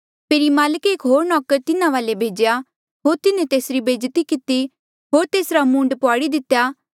फेरी माल्के एक होर नौकर तिन्हा वाले भेज्या होर तिन्हें तेसरी बेज्जती किती होर तेसरा मूंड पुआड़ी दितेया